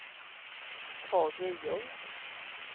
Tage Ljung